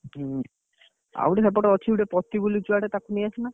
ହୁଁ ଆଉ ଗୋଟେ ସେପଟେ ଅଛି ଗୋଟେ ପତି ବୋଲି ଛୁଆଟେ ତାକୁ ନେଇଆସୁନ।